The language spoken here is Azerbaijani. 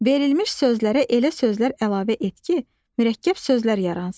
Verilmiş sözlərə elə sözlər əlavə et ki, mürəkkəb sözlər yaransın.